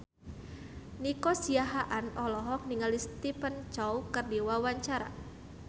Nico Siahaan olohok ningali Stephen Chow keur diwawancara